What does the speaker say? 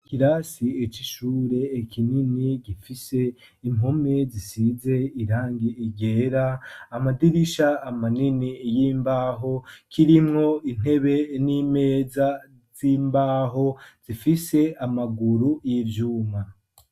Ikirasi c'ishure kinini, gifise impome zisize irangi ryera, amadirisha manini y'imbaho, kirimwo intebe n'imeza z'imbaho zifise amaguru y'ivyuma.